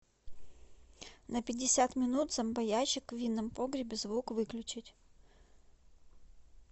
на пятьдесят минут зомбоящик в винном погребе звук выключить